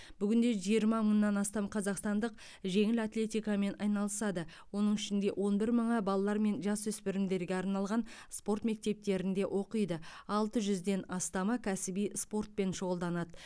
бүгінде жиырма мыңнан астам қазақстандық жеңіл атлетикамен айналысады оның ішінде он бір мыңы балалар мен жасөспірімдерге арналған спорт мектептерінде оқиды алты жүзден астамы кәсіби спортпен шұғылданады